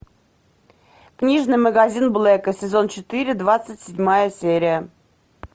книжный магазин блека сезон четыре двадцать седьмая серия